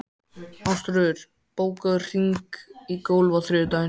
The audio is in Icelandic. Ásröður, bókaðu hring í golf á þriðjudaginn.